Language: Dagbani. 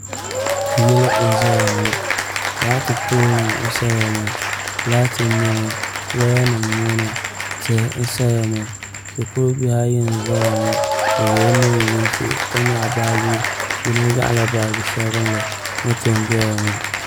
Yili n ʒɛya ŋo laati pool nim n saya ŋo laati n niɛ ŋo woya nim n boŋo tihi n saya ŋo shikuru bihi ayi n ʒɛya ŋo bi yɛla neen yinsi ka nyaɣa baaji yino nyaɣala baaji sabinli moto n doya ŋo